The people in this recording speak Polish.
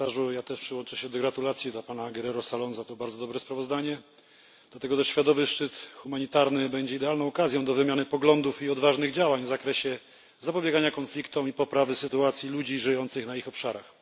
Ja też przyłączę się do gratulacji dla pana Enrique Guerrero Saloma, to bardzo dobre sprawozdanie. Światowy Szczyt Humanitarny będzie idealną okazją do wymiany poglądów i odważnych działań w zakresie zapobiegania konfliktom i poprawy sytuacji ludzi żyjących na ich obszarach.